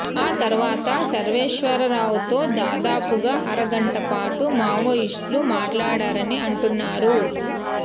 ఆ తర్వాత సర్వేశ్వర రావుతో దాదాపుగా అర గంటపాటు మావోయిస్టులు మాట్లాడారని అంటున్నారు